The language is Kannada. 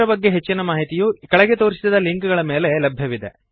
ಇದರ ಬಗ್ಗೆ ಹೆಚ್ಚಿನ ಮಾಹಿತಿಯು ಕೆಳಗೆ ತೋರಿಸಿದ ಲಿಂಕ್ ಗಳ ಮೇಲೆ ಲಭ್ಯವಿದೆ